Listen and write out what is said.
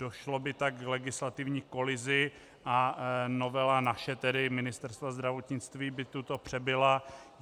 Došlo by tak k legislativní kolizi a novela naše, tedy Ministerstva zdravotnictví by tuto přebila.